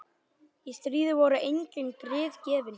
Í stríði voru engin grið gefin.